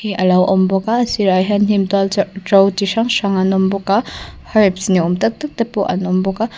alo awm bawk a a sîrah hian hnim tual ṭo ti hrang hrang an awm bawk a harbs ni awm tak tak te pawh an awm bawk a.